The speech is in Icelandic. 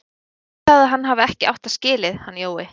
Ekki það að hann hafi ekki átt það skilið, hann Jói.